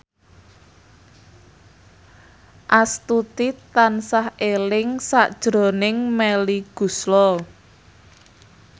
Astuti tansah eling sakjroning Melly Goeslaw